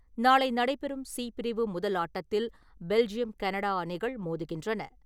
நாளை நடைபெறும் “ சி ” பிரிவு முதல் ஆட்டத்தில் பெல்ஜியம் - கெனடா அணிகள் மோதுகின்றன.